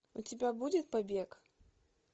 у тебя будет побег